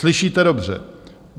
Slyšíte dobře.